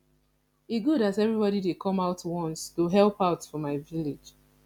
e good as everybody dey come out once to help out for my village